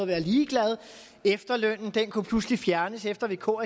været ligeglade efterlønnen kunne pludselig fjernes efter at vk